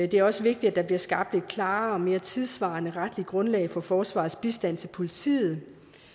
det er også vigtigt at der bliver skabt et klarere og mere tidssvarende retligt grundlag for forsvarets bistand til politiet